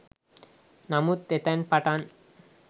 නමුත් එතැන් පටන්